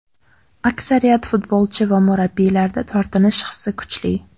Aksariyat futbolchi va murabbiylarda tortinish hissi kuchli.